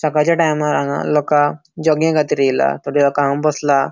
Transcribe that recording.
सकाळच्या टाइमार हांगा लोकांक जोगिंगेखातीर येयला थोडी लोक हांगा बसला.